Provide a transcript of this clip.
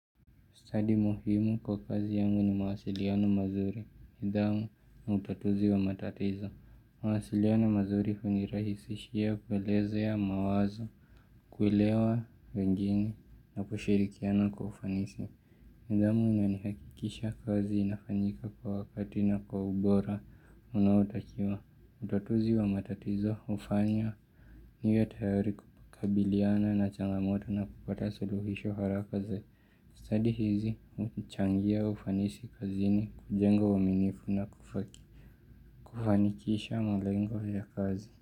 Stadi muhimu kwa kazi yangu ni mawasiliano mazuri, nidhamu na utatuzi wa matatizo. Mawasiliano mazuri hunirahisishia kuelezea mawazo, kuelewa wengine na kushirikiana kwa ufanisi. Nidhamu inanihakikisha kazi inafanyika kwa wakati na kwa ubora unaotakiwa. Utatuzi wa matatizo hufanya niwe tayari kukabiliana na changamoto na kupata suluhisho haraka. Stadi hizi huchangia ufanisi kazini, kujenga uaminifu na kufaki, kufanikisha malengo ya kazi.